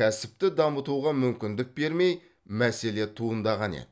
кәсіпті дамытуға мүмкіндік бермей мәселе туындаған еді